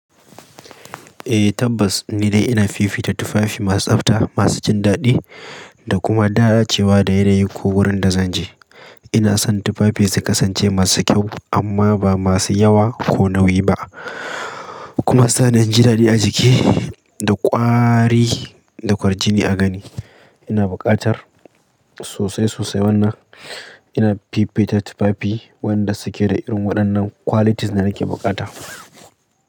Eh tabbas ni dai ina fifita tufafi masu tsabta, masu jin daɗi da kuma da dacewa da yanayi ko wurin da zan je. Ina son tufafi su kasance masu kyau amma ba masu yawa ko nauyi ba. Kuma suna jin daɗi a jiki da ƙwari da kwarjini a gani. Ina buƙatar sosai sosai wannan ina fifita tufafi wayanda su ke da irin waɗannan qualities da nake buƙata.